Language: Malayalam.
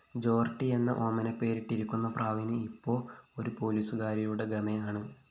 ജേര്‍ട്ടിയെന്ന ഓമനപേരിട്ടിരിക്കുന്ന പ്രാവിന് ഇപ്പോ ഒരു പോലീസുകാരിയുടെ ഗമയാണ്